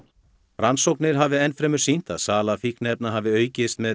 rannsóknir hafi enn fremur sýnt að sala fíkniefna hafi aukist með